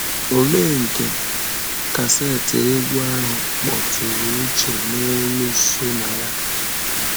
Olee nke kaseti egwú ahụ a kpọtụrụ uche n’elu so na ya?